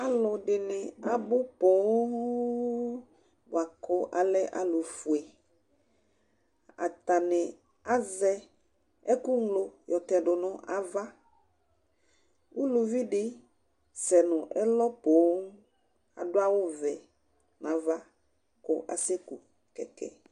Alʊ ɛdɩnɩ abʊ ƒoo bʊakʊ alɛ alʊ fʊe Atanɩ azɛ ɛkʊglo yɔ tɛdʊ nʊ ava Ʊlʊvɩ dɩ sɛ nʊ elɔ ƒoo adʊ awʊ vɛ nava kʊ asɛkʊ kɛkɛ